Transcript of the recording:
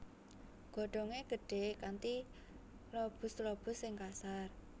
Godhongé gedhé kanthi lobuslobus sing kasar